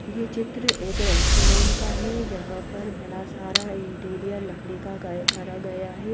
ये चित्र एक रेस्टोरेंट का है जहां पर बड़ा सारा इंटीरियर लकड़ी का करा गया है।